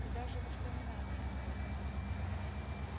и даже воспоминание об этом